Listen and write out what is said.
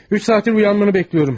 3 saatdır oyanmanı gözləyirəm.